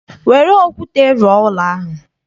Were okwute rụọ ụlọ ahụ!